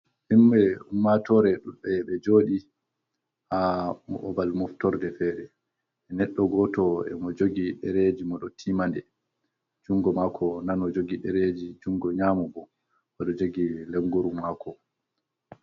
Himɓe ummatoore ɗuuɗɓe be jooɗi, haa babal moftorde feere. Neɗɗo gooto e mo jogi ɗereeji, mo ɗo tiimande, junngo maako nano jogi ɗereeji, junngo nyaamo bo, mo ɗo jogi lenguru maako.